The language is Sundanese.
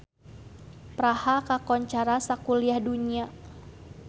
Praha kakoncara sakuliah dunya